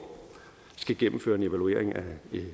skal gennemføre en evaluering af